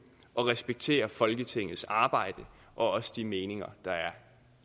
og respekterer folketingets arbejde og også de meninger der er